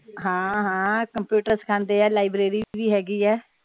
ਹਾਂ ਹਾਂ ਕੰਪਿਊਟਰ ਸਿਖਾਉਂਦੇ ਆ ਲਾਇਬ੍ਰੇਰੀ ਵੀ ਹੇਗੀ ਏ।